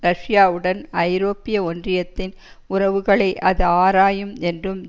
ரஷ்யாவுடன் ஐரோப்பிய ஒன்றியத்தின் உறவுகளை அது ஆராயும் என்றும்